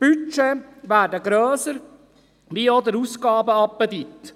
Die Budgets werden grösser und auch der Appetit nach Ausgaben.